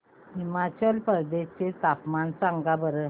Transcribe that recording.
हिमाचल प्रदेश चे तापमान सांगा बरं